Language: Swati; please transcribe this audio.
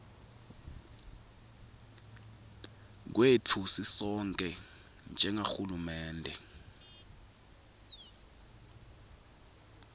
kwetfu sisonkhe njengahulumende